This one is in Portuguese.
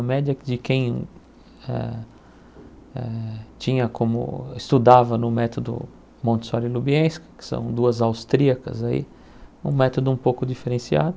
A média de quem eh eh tinha como... estudava no método Montessori-Lubienski, que são duas austríacas aí, um método um pouco diferenciado.